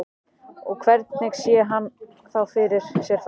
Og hvernig sé hann þá fyrir sér framhaldið?